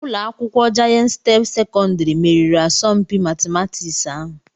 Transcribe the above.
Ụlọ akwụkwọ Jayent step sekọndrị meriri asọmpi matịmatịks ahụ